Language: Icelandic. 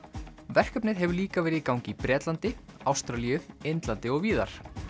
verkefnið hefur líka verið í gangi í Bretlandi Ástralíu Indlandi og víðar